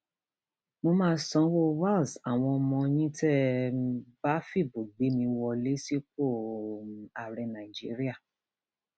mo máa sanwó wales àwọn ọmọ yín tẹ um ẹ bá fìbò gbé mi wọlé sípò um ààrẹ nàìjíríà